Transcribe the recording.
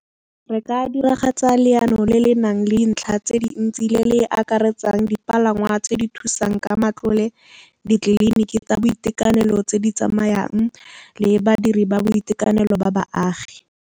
Re ka diragatsa leano le le nang le dintlha tse dintsi le le akaretsang dipalangwa tse di thusang ka matlole, ditleliniki tsa boitekanelo tse di tsamayang le badiri ba boitekanelo ba baagi.